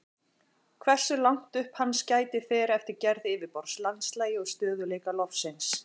Hversu langt upp hans gætir fer eftir gerð yfirborðs, landslagi og stöðugleika lofsins.